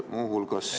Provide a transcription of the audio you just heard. Muu hulgas ...